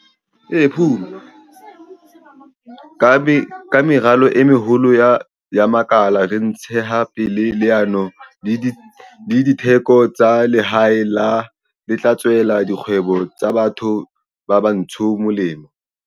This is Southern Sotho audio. Ka meralo e meholo ya makala re ntshetsa pele leano la ditheko tsa lehae le tla tswela dikgwebo tsa batho ba batsho molemo.